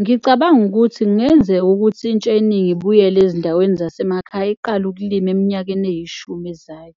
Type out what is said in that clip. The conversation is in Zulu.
Ngicabanga ukuthi kungenzeka ukuthi intsha eningi ibuyele ezindaweni zasemakhaya, iqale ukulima eminyakeni eyishumi ezayo.